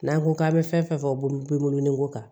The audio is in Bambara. N'an ko k'an bɛ fɛn fɛn fɔ bolo bɛ wolo ni ko kan